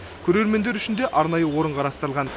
көрермендер үшін де арнайы орын қарастырылған